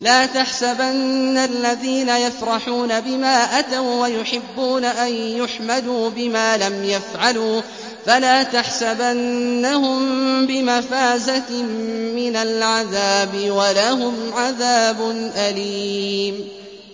لَا تَحْسَبَنَّ الَّذِينَ يَفْرَحُونَ بِمَا أَتَوا وَّيُحِبُّونَ أَن يُحْمَدُوا بِمَا لَمْ يَفْعَلُوا فَلَا تَحْسَبَنَّهُم بِمَفَازَةٍ مِّنَ الْعَذَابِ ۖ وَلَهُمْ عَذَابٌ أَلِيمٌ